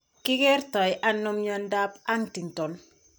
Kikerto ano mnyandoap Huntington?